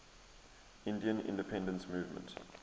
indian independence movement